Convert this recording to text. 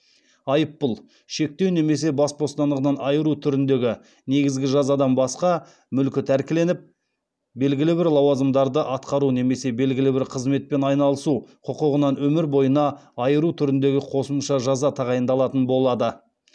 айыппұл шектеу немесе бас бостандығынан айыру түріндегі негізгі жазадан басқа мүлкі тәркіленіп белгілі бір лауазымдарды атқару немесе белгілі бір қызметпен айналысу құқығынан өмір бойына айыру түріндегі қосымша жаза тағайындалатын болады